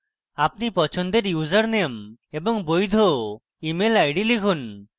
আপনার পছন্দের ইউজারনেম এবং বৈধ email id লিখুন